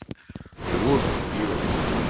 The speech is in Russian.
после пива